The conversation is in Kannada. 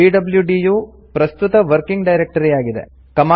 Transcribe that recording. ಪಿಡ್ಲ್ಯೂಡಿ ಯು ಪ್ರಸ್ತುತ ವರ್ಕಿಂಗ್ ಡೈರೆಕ್ಟರಿ ಆಗಿದೆ